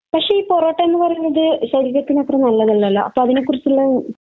പക്ഷെ ഈ പൊറോട്ട എന്ന് പറയുന്നത് ശരീരത്തിന് അത്ര നല്ലതല്ലല്ലോ. അപ്പൊ അതിനെക്കുറിച്ചുള്ള